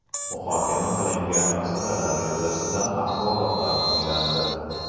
Muhokama qilingan masalalar yuzasidan axborotlar tinglandi.